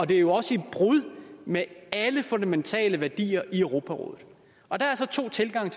det er jo også et brud med alle fundamentale værdier i europarådet og der er så to tilgange